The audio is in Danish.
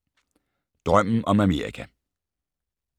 Drømmen om Amerika